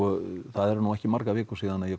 eru nú ekki margar vikur síðan ég